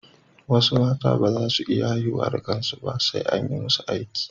Wasu mata ba za su iya haihuwa da kansu ba, sai an yi musu aiki